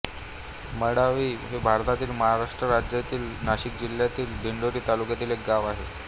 मावडी हे भारताच्या महाराष्ट्र राज्यातील नाशिक जिल्ह्यातील दिंडोरी तालुक्यातील एक गाव आहे